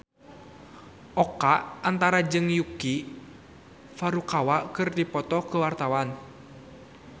Oka Antara jeung Yuki Furukawa keur dipoto ku wartawan